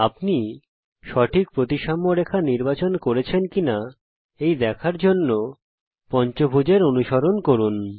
আপনি সঠিক প্রতিসাম্য রেখা নির্বাচন করেছেন কিনা এই দেখার জন্যে পঞ্চভূজ এর অনুসরণ করুন